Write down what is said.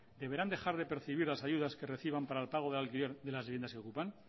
deberán dejar de percibir las ayudas que reciban para el pago del alquiler de las viviendas que ocupan